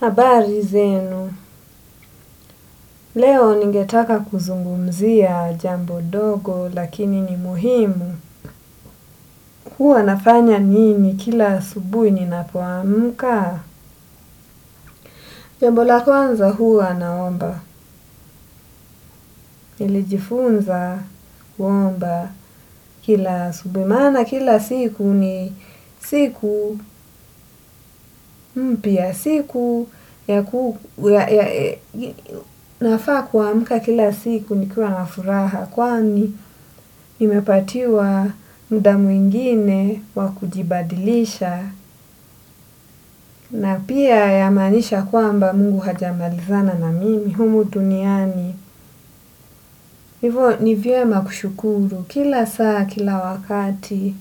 Habari zenu, leo ningetaka kuzungumzia jambo dogo lakini ni muhimu. Huwa nafanya nini kila asubuhi ninapomka? Jambo la kwanza huwa naomba. Nilijifunza, kuomba kila asubuhi, maana kila siku ni siku, mpya siku, nafaa kuamka kila siku nikiwa na furaha, kwani nimepatiwa muda mwingine wa kujibadilisha, na pia yamaanisha kwamba mungu hajamalizana na mimi, humu tuniani. Hivo nivyema kushukuru kila saa kila wakati.